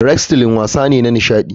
Wrestling wasa ne na nishadi.